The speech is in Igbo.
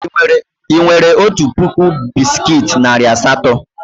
Ị nwere otu puku bisikiiti narị asatọ?